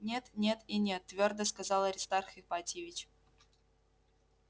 нет нет и нет твёрдо сказал аристарх ипатьевич